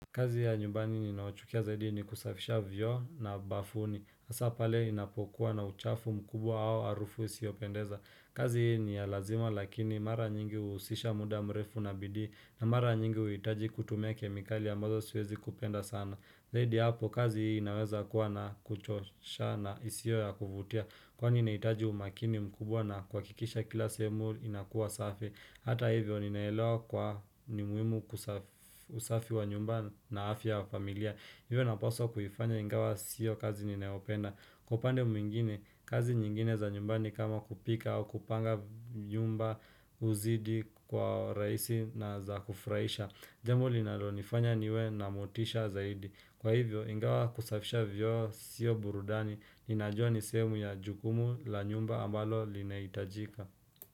Kazi ya nyumbani ninayochukia zaidi ni kusafisha vyoo na bafuni hasa pale inapokuwa na uchafu mkubwa au harufu isiopendeza kazi hii ni ya lazima lakini mara nyingi huhusisha muda mrefu na bidii na mara nyingi huhitaji kutumia kemikali ambazo siwezi kupenda sana Zaidi hapo kazi hii inaweza kuwa na kuchosha na isio ya kuvutia Kwa nina hitaji umakini mkubwa na kwa kikisha kila sehumu inakuwa safi Hata hivyo ninaelewa kwa ni muhimu kusafi wa nyumba na afya wa familia Hivyo naposwa kuifanya ingawa siyo kazi ninaopenda Kwa upande mwingine, kazi nyingine za nyumbani kama kupika au kupanga nyumba huzidi kwa uraisi na za kufraisha Jambo linalo nifanya niwe na motisha zaidi Kwa hivyo, ingawa kusafisha vyoo siyo burudani Ninajua nisemu ya jukumu la nyumba ambalo lina hitajika.